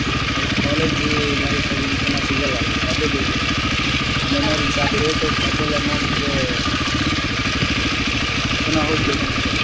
ಆದ್ರೆ college life ಅದ್ ಇನ್ ಪುನಾ ಸಿಗಲ್ಲ ಅಲ್ಲ ಅದೇ ಬೇಜಾರ್ memories photos ಅದೆಲ್ಲ ನೋಡಿದ್ರೆ ಪುನಾ ಹೋಗ್ಬೇಕು ಅನಿಸ್ತದೆ.